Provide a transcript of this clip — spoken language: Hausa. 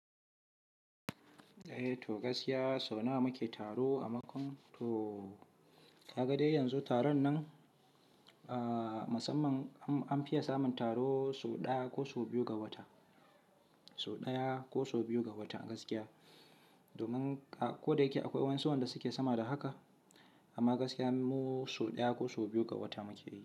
Eh to gaskiya, sau nawa muke taro a Makon? To ka ga dai yanzu taron nan, aa masamman an fiya samun taro so ɗaya ko so biyu ga wata, so ɗaya ko so biyu ga wata gaskiya. Domin ko da yake akwai wa'ansu wanda suke sama da haka, amma gaskiya mu so ɗaya ko so biyu ga wata muke yi.